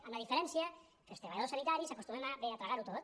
amb la diferència que els treballadors sanitaris acostumem bé a tragar ho tot